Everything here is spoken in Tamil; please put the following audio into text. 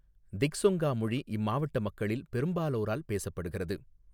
திஃசொங்கா மொழி இம்மாவட்ட மக்களில் பெரும்பாலோரால் பேசப்படுகிறது.